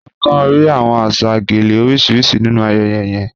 À kàn ríí awọn àṣà gèlè orísiríṣì nínu ayẹyẹ yẹ̀n.